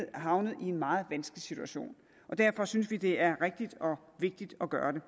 havnet i en meget vanskelig situation derfor synes vi det er rigtigt og vigtigt at gøre det